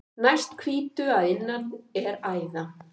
Næst hvítu að innan er æða.